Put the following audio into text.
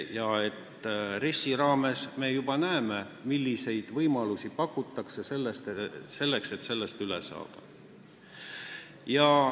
Ka RES-is me juba näeme, milliseid võimalusi pakutakse, et sellest üle saada.